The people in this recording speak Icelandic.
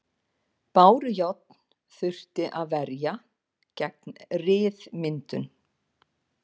Bárujárn þurfti að verja gegn ryðmyndun.